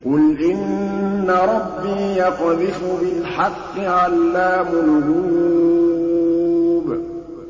قُلْ إِنَّ رَبِّي يَقْذِفُ بِالْحَقِّ عَلَّامُ الْغُيُوبِ